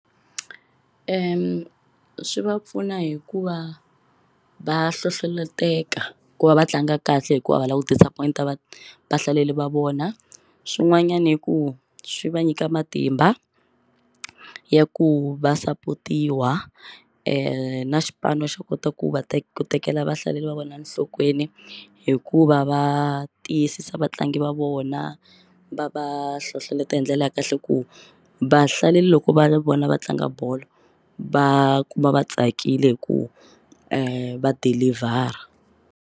Swi va pfuna hi ku va va hlohloloteka ku va va tlanga kahle hikuva a va la ku disappoint-a vahlaleli va vona swin'wanyani i ku swi va nyika matimba ya ku va sapotiwa xipano xo kota ku va ku tekela vahlaleri va vona nhlokweni hikuva va tiyisisa vatlangi va vona va va va hlohloleta hi ndlela ya kahle ku va hlaleli loko va vona va tlanga bolo va kuma va tsakile hi ku dilivhara.